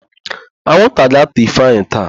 Anwụnta ga-átà Ifeanyị taa.